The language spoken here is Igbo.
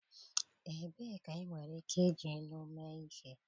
Ebee ka enwere ike iji Ilu mee ihe?